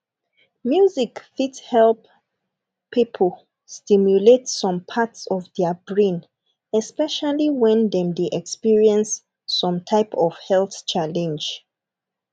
music fit help pipo stimulate some parts of their brain especially when dem dey experience some type of health challenge